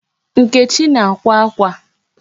Nkechi na-akwa akwa.